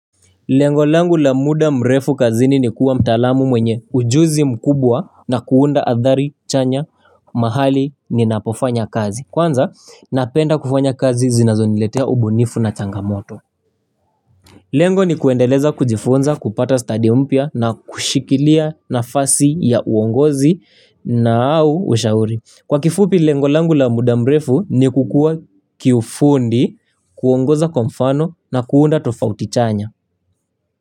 Lengolangu la muda mrefu kazini ni kuwa mtalamu mwenye ujuzi mkubwa na kuunda adhari chanya mahali ni napofanya kazi. Kwanza napenda kufanya kazi zinazo niletea ubunifu na changamoto. Lengo ni kuendeleza kujifunza kupata study mpia na kushikilia na fasi ya uongozi na au ushauri. Kwa kifupi lengolangu la muda mrefu ni kukua kifundi kuongoza kwamfano na kuunda tofauti chanya.